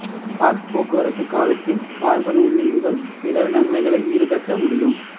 கார்க் போக்குவரத்து காலத்தில் கார்பன் உமிழ்வுகள் பிற நன்மைகளை ஈடுகட்ட முடியும்